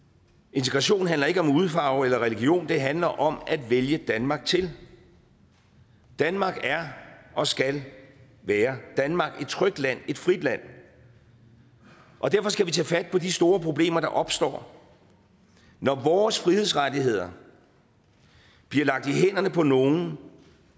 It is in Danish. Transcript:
integration handler ikke om hudfarve eller religion det handler om at vælge danmark til danmark er og skal være danmark et trygt land et frit land og derfor skal vi tage fat på de store problemer der opstår når vores frihedsrettigheder bliver lagt i hænderne på nogle